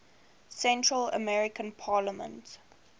central american parliament